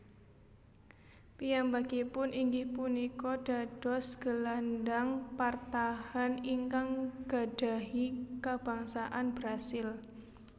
Piyambakipun inggih punika dados gelandang partahan ingkang gadhahi kabangsaan Brasil